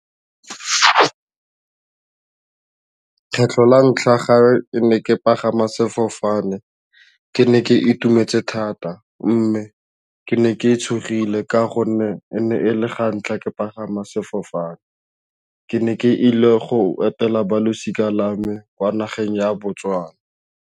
Kgetlho la ntlha ga ne ke pagama sefofane ke ne ke itumetse thata mme ke ne ke tshogile ka gonne e ne e le ga ntlha ke pagama sefofane ke ne ke ile go etela balosika lwa me kwa nageng ya Botswana.